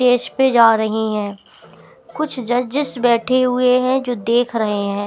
Stage पे जा रही हैं कुछ जज़स बैठे हुए हैं जो देख रहे हैं।